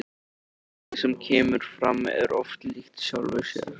Og fólkið sem kemur fram er oft líkt sjálfu sér.